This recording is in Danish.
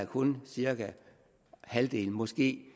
kun er cirka halvdelen måske